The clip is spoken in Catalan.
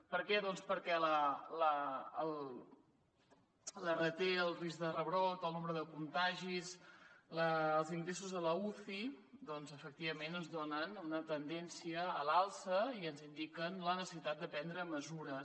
per què doncs perquè l’rt el risc de rebrot o nombre de contagis els ingressos a l’uci doncs efectivament ens donen una tendència a l’alça i ens indiquen la necessitat de prendre mesures